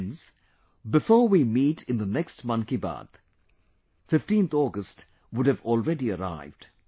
Friends, before we meet in the next Mann Ki Baat, 15th August would have already arrived